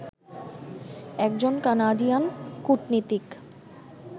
একজন কানাডিয়ান কূটনীতিক